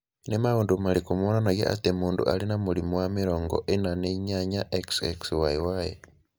Nĩ maũndũ marĩkũ monanagia atĩ mũndũ arĩ na mũrimũ wa 48,XXYY?